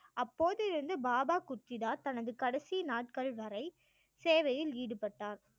அப்போது இருந்து பாபா குர்தித்தா தனது கடைசி நாட்கள் வரை சேவையில் ஈடுபட்டார்